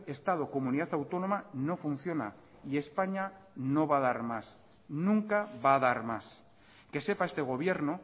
estado comunidad autónoma no funciona y españa no va a dar más nunca va a dar más que sepa este gobierno